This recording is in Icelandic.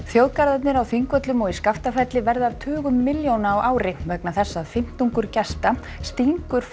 þjóðgarðarnir á Þingvöllum og í Skaftafelli verða af tugum milljóna á ári vegna þess að fimmtungur gesta stingur